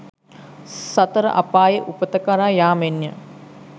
සතර අපායේ උපත කරා යාමෙන් ය